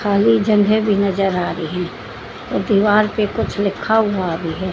खाली जगह भी नजर आ रही दीवार पे कुछ लिखा हुआ भी है।